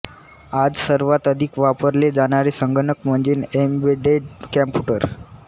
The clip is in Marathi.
आज सर्वांत अधिक वापरले जाणारे संगणक म्हणजे एम्बेडेड कंम्प्यूटर